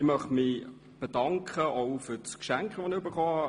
Ich möchte mich auch für das Geschenk bedanken.